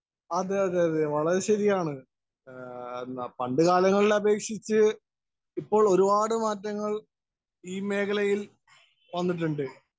Speaker 1 അതേ അതേ വളരെ ശരിയാണ്. പണ്ട് കാലങ്ങളിലേ അപേക്ഷിച്ച് ഇപ്പോള്‍ ഒരു പാട് മാറ്റങ്ങള്‍ ഈ മേഖലയില്‍ വന്നിട്ടുണ്ട്.